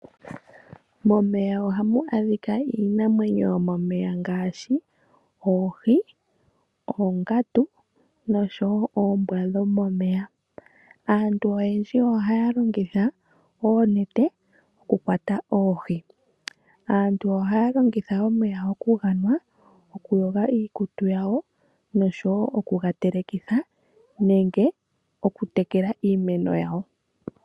Momeya ohamu adhika iinamwenyo yomomeya ngaashi oohi, oongandu noshowo oombwa dhomomeya. Aantu oyendji ohaya longitha oonete oku kwata oohi. Aantu ohaya longitha omeya oku ganwa, oku yoga iikutu yawo noshowo oku ga telekitha nenge oku tekela iimeno yawo.